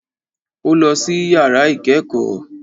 Ó lọ sí yàrá ìkẹ́kọ̀ọ́.